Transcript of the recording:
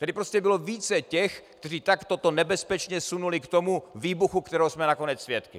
Tady prostě bylo více těch, kteří to takto nebezpečně sunuli k tomu výbuchu, kterého jsme nakonec svědky.